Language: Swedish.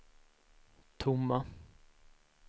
tomma